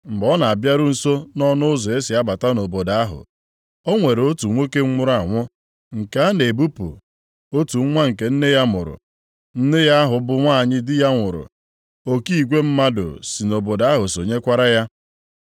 Mgbe ọ na-abịaru nso nʼọnụ ụzọ e si abata nʼobodo ahụ, o nwere otu nwoke nwụrụ anwụ nke a na-ebupụ, otu nwa nke nne ya mụrụ. Nne ya ahụ bụ nwanyị di ya nwụrụ, oke igwe mmadụ si nʼobodo ahụ sonyekwara ya.